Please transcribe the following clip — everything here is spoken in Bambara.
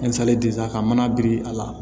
ka mana biri a la